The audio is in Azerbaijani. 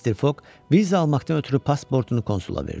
Mister Foq viza almaqdan ötrü pasportunu konsula verdi.